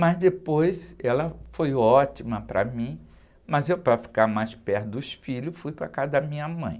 Mas depois ela foi ótima para mim, mas eu, para ficar mais perto dos filhos, fui para a casa da minha mãe.